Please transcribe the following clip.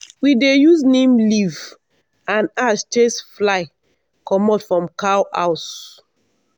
we dey use neem leaf and ash chase fly comot from cow house.